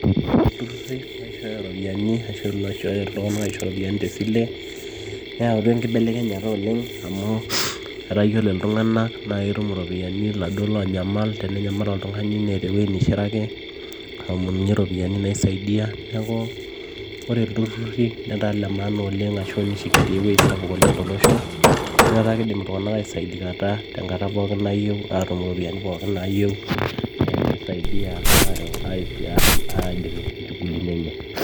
Ore itururi ooishooyo iropiyiani ashu iloishooyo iltung'anak aisho iropiyiani tesile neeyautua enkibelekenyata oleng amu etaa iyiolo iltung'anak naa ketum iropiyiani iladuoo loonyamal te nenyamal oltung'ani neeta ewueji neishiraki aomonunyie iropiyiani naisaidia neeku ore iltururi letaa ile maana oleng ashu neishangia ewueji sapuk tosho amu etaa keidim iltung'anak aisaidikata tenkata pooki nayieu aatum iropiyiani pooki naayieu naa keisaidia aaidip inchugulini enye.